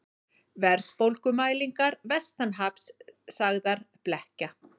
Verðbólgumælingar vestanhafs sagðar blekkja